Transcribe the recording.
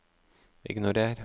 ignorer